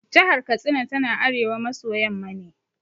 Jahar Katsina tana arewa maso yamma ne.